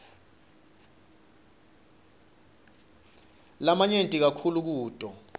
lamanyenti kakhulu kuto